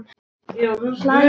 Hlæja og emja.